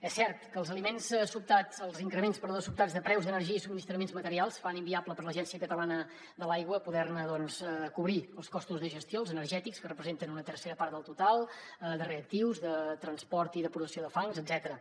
és cert que els increments sobtats de preus d’energia i subministraments materials fan inviable per a l’agència catalana de l’aigua poder ne doncs cobrir els costos de gestió els energètics que representen una tercera part del total de reactius de transport i producció de fangs etcètera